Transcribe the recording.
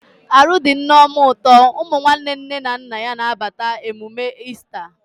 Arụ dị Nneoma ụtọ, ụmụ nwanne nne na nna ya na abata emume Easta